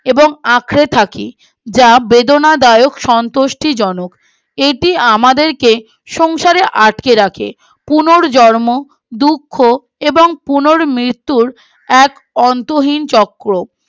এবং আঁকড়ে থাকি যা বেদনাদায়ক সন্তুষ্টি জনক এটি আমাদেরকে সংসারে আটকে রাখে পুনর্জন্ম দুঃখ এবং পুনো মৃত্যুর এক অন্তহীন চক্র